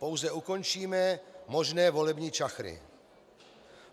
Pouze ukončíme možné volební čachry.